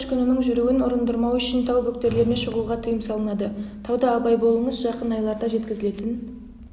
қар көшкіннің жүруін ұрындырмау үшін тау бөктерлеріне шығуға тыйым салынады тауда абай болыңыз жақын айларда жеткізілетін